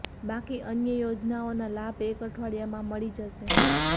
બાકી અન્ય યોજનાઓ ના લાભ એક અઠવાડીયામાં મળી જશે